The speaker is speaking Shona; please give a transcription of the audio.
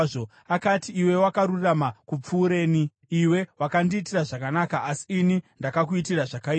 Akati, “Iwe wakarurama kupfuureni. Iwe wakandiitira zvakanaka, asi ini ndakakuitira zvakaipa.